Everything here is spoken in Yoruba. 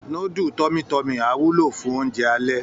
Núdù tọmi tọ́mì á wúlò fún oúnjẹ alẹ́